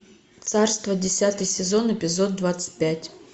царство десятый сезон эпизод двадцать пять